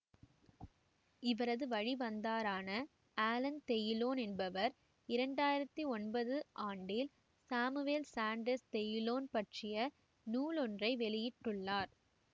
இவரது வழி வந்தரான அலன் தெயுலோன் என்பவர் இரண்டு ஆயிரத்தி ஒன்பது ஆண்டில் சாமுவேல் சான்டர்சு தெயுலோன் பற்றிய நூலொன்றை வெளியிட்டுள்ளார்